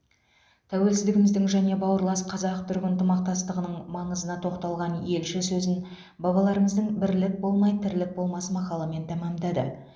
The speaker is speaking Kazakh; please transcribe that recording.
тәуелсіздігіміздің және бауырлас қазақ түрік ынтымақтастығының маңызына тоқталған елші сөзін бабаларымыздың бірлік болмай тірлік болмас мақалымен тәмамдады